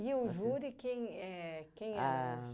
o júri, quem éh que eram os